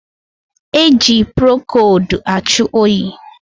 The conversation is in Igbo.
E ji prokodu achụ oyi